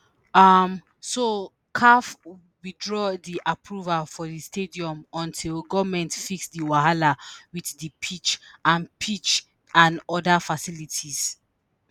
um so caf withdraw di approval for di stadium until goment fix di wahala wit di pitch and pitch and oda facilities.